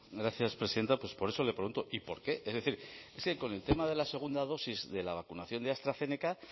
gracias presidenta pues por eso le pregunto y por qué es decir es que con el tema de la segunda dosis de la vacunación de astrazeneca